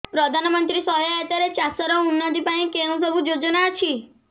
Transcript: ପ୍ରଧାନମନ୍ତ୍ରୀ ସହାୟତା ରେ ଚାଷ ର ଉନ୍ନତି ପାଇଁ କେଉଁ ସବୁ ଯୋଜନା ଅଛି